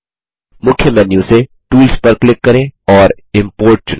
मुख्य मेन्यू से टूल्स पर क्लिक करें और इम्पोर्ट चुनें